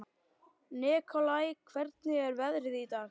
Nikolai, hvernig er veðrið í dag?